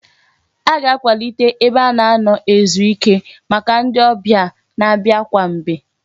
A ga-akwalite ebe a na-anọ ezuike maka ndị ọbịa na-abịa kwa mgbe